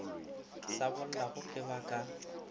sa bollago ge ba ka